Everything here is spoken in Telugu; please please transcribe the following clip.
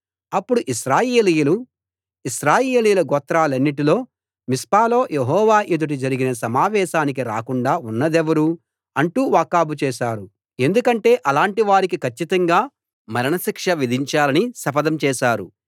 అప్పుడు ఇశ్రాయేలీయులు ఇశ్రాయేలీయుల గోత్రాలన్నిటిలో మిస్పాలో యెహోవా ఎదుట జరిగిన సమావేశానికి రాకుండా ఉన్నదెవరు అంటూ వాకబు చేసారు ఎందుకంటే అలాంటి వారికి కచ్చితంగా మరణ శిక్ష విధించాలని శపథం చేశారు